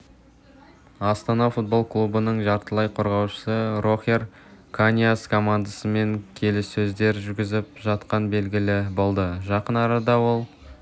астана футбол клубының жартылай қорғаушысы рохер каньяс командасымен келіссөздер жүргізіп жатқаны белгілі болды жақын арада ол